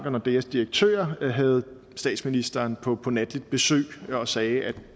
og nordeas direktør havde statsministeren på på natligt besøg og sagde at